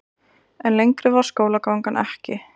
En lengri varð skólagangan ekki.